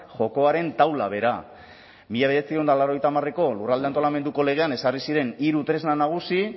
jokoaren taula bera mila bederatziehun eta laurogeita hamareko lurralde antolamenduko legean ezarri ziren hiru tresna nagusi